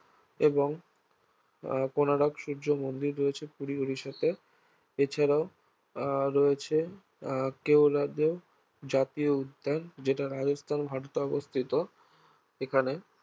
এবং আহ কোণার্ক সুর্য মন্দির রয়েছে পুরীর ওড়িশাতে এছাড়াও আহ রয়েছে আহ কেওলাদেও জাতীয় উদ্যান যেটা রাজস্থান ভারতে অবস্থিত এখানে